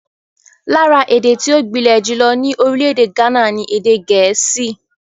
Lára èdè tí ó gbilẹ̀ jùlọ ní orílẹ̀-èdè Ghana ni Èdè Gẹ̀ẹ́sì.